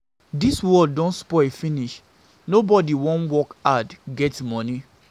Dis world don spoil finish. Nobody wan work hard get money.